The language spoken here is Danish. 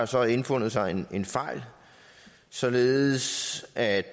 så indfundet sig en en fejl således at